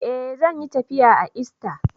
Eh, zan yi tafiya a ista.